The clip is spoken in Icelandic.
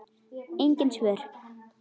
Engin svör.